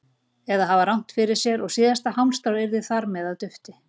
Eða að hafa rangt fyrir sér og síðasta hálmstráið yrði þar með að dufti.